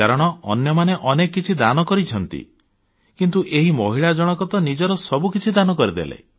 କାରଣ ଅନ୍ୟମାନେ ଅନେକ କିଛି ଦାନ କରିଛନ୍ତି କିନ୍ତୁ ଏହି ମହିଳାଜଣକ ତ ନିଜର ସବୁକିଛି ଦାନ କରିଦେଲେ